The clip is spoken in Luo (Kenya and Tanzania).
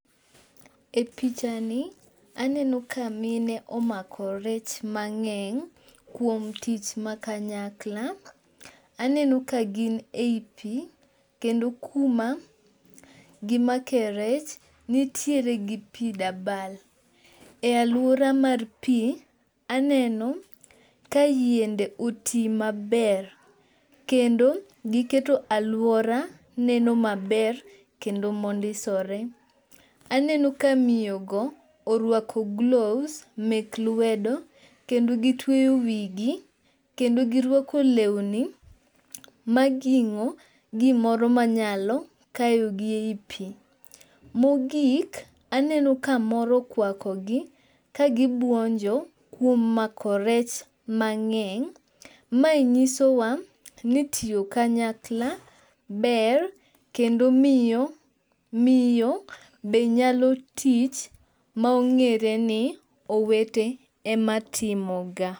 E picha ni, aneno ka mine omako rech mang'eny kuom tich ma kanyakla, aneno ka gin e ipi kendo kuma gimake rech, nitie gi pi dabal. E alwora mar pi, aneno ka yiende oti maber, kendo giketo alwora neno maber kendo mondisore. Aneno ka ,miyogo orwako gloves mek lwedo, kendo gitweyo wigi, kendo girwako lewni maging'o gimoro manyalo kayogi ei pi. Mogik, aneno ka mo okwakogi kagibwonjo kuom mako rech mang'eny. Mae nyisowa ni tiyo kanykala ber kendo miyo, miyo be nyalo tich ma ong'ere ni owete ema timoga.